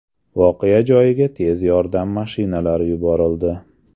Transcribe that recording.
Voqea joyiga tez yordam mashinalari yuborildi.